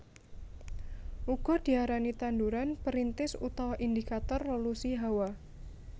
Uga diarani tanduran perintis utawa indikator lolusi hawa